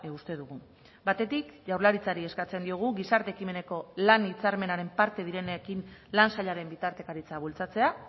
uste dugu batetik jaurlaritzari eskatzen diogu gizarte ekimeneko lan hitzarmenaren parte direnekin lan sailaren bitartekaritza bultzatzea